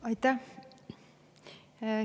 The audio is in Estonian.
Aitäh!